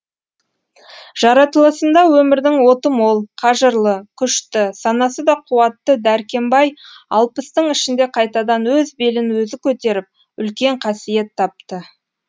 жаратылысында өмірдің оты мол қажырлы күшті санасы да қуатты дәркембай алпыстың ішінде қайтадан өз белін өзі көтеріп үлкен қасиет тапты